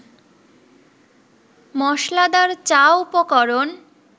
মসলাদার চা উপকরণ